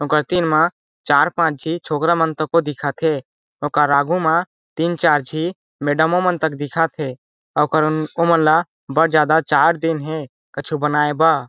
ओकर तीन मा चार पांच झी छोकरा मन को दिखत थे ओकर आगू मा तीन चार झी मेडमो मन तक दिखत हे ओकर ओमन ला बड़ ज्यादा चार्ट दिन हे कुछु बनएबा।